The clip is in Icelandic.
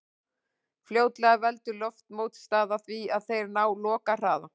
Fljótlega veldur loftmótstaða því að þeir ná lokahraða.